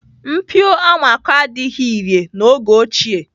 Mpio amako adịghị irè n'oge ochie.